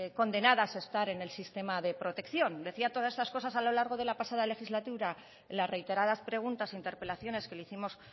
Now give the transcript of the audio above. condenadas estar en el sistema de protección decía todas estas cosa a lo largo de la pasada legislatura en las reiteradas preguntas interpelaciones que les hicimos